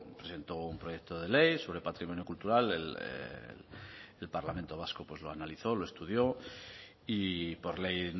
presentó un proyecto de ley sobre patrimonio cultural el parlamento vasco pues lo analizó lo estudió y por ley